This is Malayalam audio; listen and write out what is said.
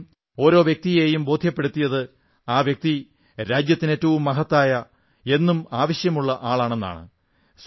അദ്ദേഹം ഓരോ വ്യക്തിയെയും ബോധ്യപ്പെടുത്തിയത് ആ വ്യക്തി രാജ്യത്തിന് ഏറ്റവും മഹത്തായ എന്നും ആവശ്യമുള്ള ആളാണെന്നാണ്